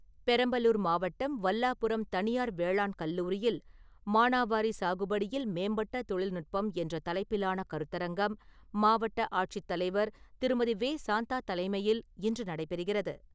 பெரம்பலூர் மாவட்டம் வல்லாபுரம் தனியார் வேளாண் கல்லூரியில் ‘மானாவாரி சாகுபடியில் மேம்பட்ட தொழில்நுட்பம்' என்ற தலைப்பிலான கருத்தரங்கம், மாவட்ட ஆட்சித் தலைவர் திருமதி வே சாந்தா தலைமையில் இன்று நடைபெறுகிறது.